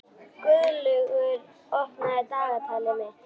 Guðlaugur, opnaðu dagatalið mitt.